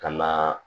Ka na